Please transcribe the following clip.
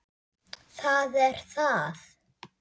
Það er það!